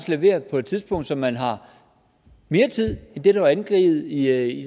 levere på et tidspunkt så man har mere tid end det der er angivet i